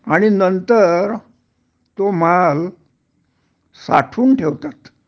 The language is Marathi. आणि नंतर तो माल साठवून ठेवतात